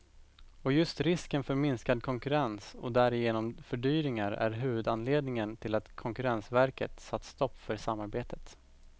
Och just risken för minskad konkurrens och därigenom fördyringar är huvudanledningen till att konkurrensverket satt stopp för samarbetet.